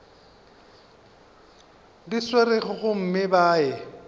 di swerego gomme ba ye